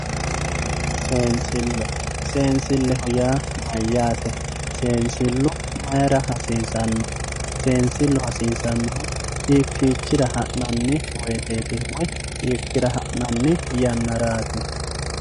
Seensile, seensileho yaa mayyate, seensilu mayra hasiisano, seensilu hasiisanohu hiikkichira ha'nanni woyteti woyi yannarati.